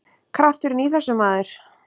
Krafturinn í þessu, maður!